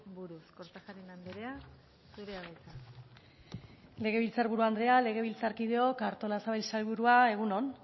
buruz kortajarena andrea zurea da hitza legebiltzar buru andrea legebiltzarkideok artolazabal sailburua egun on